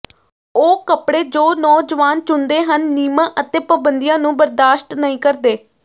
ਉਹ ਕੱਪੜੇ ਜੋ ਨੌਜਵਾਨ ਚੁਣਦੇ ਹਨ ਨਿਯਮਾਂ ਅਤੇ ਪਾਬੰਦੀਆਂ ਨੂੰ ਬਰਦਾਸ਼ਤ ਨਹੀਂ ਕਰਦੇ